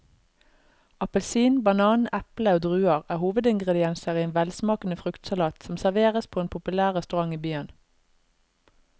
Appelsin, banan, eple og druer er hovedingredienser i en velsmakende fruktsalat som serveres på en populær restaurant i byen.